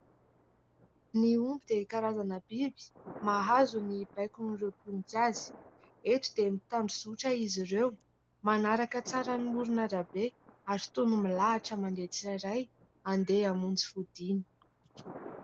Ny omby dia karazana biby mahazo ny baikon'ireo mpiompy azy; eto dia mitandrozotra izy ireo manaraka tsara ny amoron'arabe ary toy ny milahatra mandeha tsiraray andeha hamonjy fodiana.